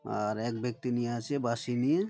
আর এক ব্যাক্তি নিয়ে আছে বাঁশি নিয়ে-এ--